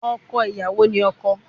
Ọkọ iyawo ni ọkọ